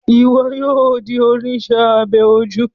Iwọ yóò di oníṣe abẹ ojú